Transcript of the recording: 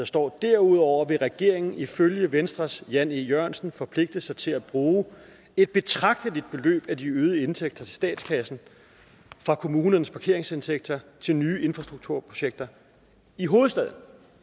står derudover vil regeringen ifølge venstres jan e jørgensen forpligte sig til at bruge et betragteligt beløb af de øgede indtægter til statskassen fra kommunernes parkeringsindtægter til nye infrastrukturprojekter i hovedstaden